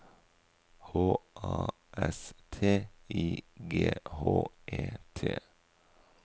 H A S T I G H E T